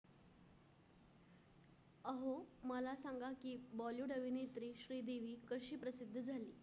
अहो, मला सांगा कि bollywood अभिनेत्री श्रीदेवी कशी प्रसिद्धी झाली?